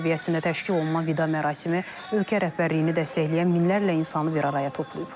Dövlət səviyyəsində təşkil olunan vida mərasimi ölkə rəhbərliyini dəstəkləyən minlərlə insanı bir araya toplayıb.